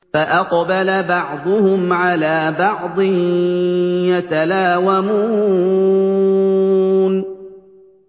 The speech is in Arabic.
فَأَقْبَلَ بَعْضُهُمْ عَلَىٰ بَعْضٍ يَتَلَاوَمُونَ